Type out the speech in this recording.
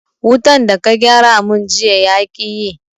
Wutan da ka gyara mun jiya yaƙi yi